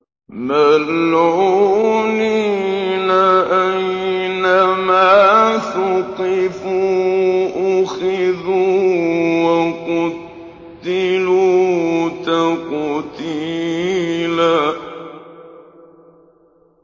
مَّلْعُونِينَ ۖ أَيْنَمَا ثُقِفُوا أُخِذُوا وَقُتِّلُوا تَقْتِيلًا